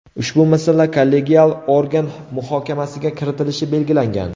Ushbu masala kollegial organ muhokamasiga kiritilishi belgilangan.